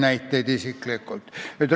Ma ei tea isiklikult ühtki näidet.